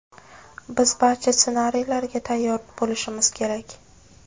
Biz barcha ssenariylarga tayyor bo‘lishimiz kerak.